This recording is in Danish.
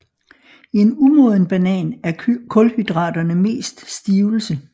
I en umoden banan er kulhydraterne mest stivelse